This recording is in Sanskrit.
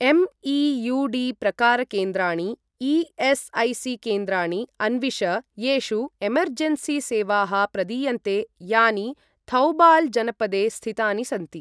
एम्.ई.यू.डी. प्रकारकेन्द्राणि ई.एस्.ऐ.सी.केन्द्राणि अन्विष येषु एमर्जेन्सी सेवाः प्रदीयन्ते यानि थौबाल् जनपदे स्थितानि सन्ति।